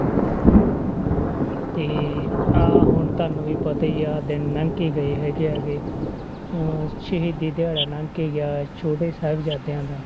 ਤੇ ਆਹ ਹੁਣ ਤੁਹਾਨੂੰ ਵੀ ਪਤਾ ਹੀ ਆ ਦਿਨ ਲੰਘ ਕੇ ਗਏ ਹੈਗੇ ਆ ਗੇ ਅਹ ਸ਼ਹੀਦੀ ਦਿਹਾੜਾ ਲੰਘ ਕੇ ਗਿਆ ਛੋਟੇ ਸਾਹਿਬਜ਼ਾਦਿਆਂ ਦਾ